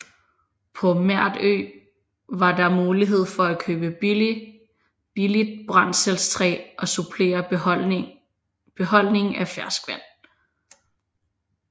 På Merdø var der mulighed for at købe billigt brændselstræ og supplere beholdningen af ferskvand